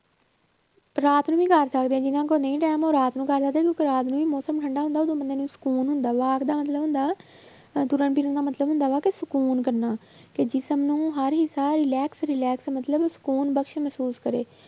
ਰਾਤ ਨੂੰ ਵੀ ਕਰ ਸਕਦੇ ਹਾਂ ਜਿਹਨਾਂ ਕੋਲ ਨਹੀਂ time ਹੈ ਉਹ ਰਾਤ ਨੂੰ ਕਰ ਸਕਦੇ ਆ ਕਿਉਂਕਿ ਰਾਤ ਨੂੰ ਵੀ ਮੌਸਮ ਠੰਢਾ ਹੁੰਦਾ ਤੇ ਬੰਦੇ ਨੂੰ ਸ਼ਕੂਨ ਹੁੰਦਾ walk ਦਾ ਮਤਲਬ ਹੁੰਦਾ ਅਹ ਤੁਰਨ ਫਿਰਨ ਦਾ ਮਤਲਬ ਹੁੰਦਾ ਵਾ ਕਿ ਸਕੂਨ ਕਰਨਾ, ਕਿ ਜਿਸ਼ਮ ਨੂੰ ਹਰ ਹਿੱਸਾ relax relax ਮਤਲਬ ਸ਼ਕੂਨ ਬਸ ਮਹਿਸੂਸ ਕਰੇ